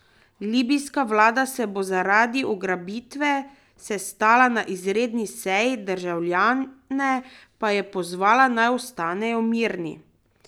Libijska vlada se bo zaradi ugrabitve sestala na izredni seji, državljane pa je pozvala, naj ostanejo mirni.